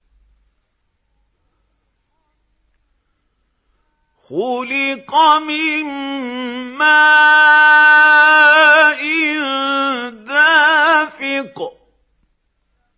خُلِقَ مِن مَّاءٍ دَافِقٍ